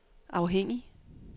afhængig